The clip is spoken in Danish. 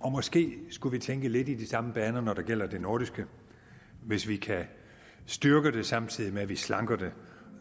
og måske skulle vi tænke lidt i de samme baner når det gælder det nordiske hvis vi kan styrke det samtidig med at vi slanker det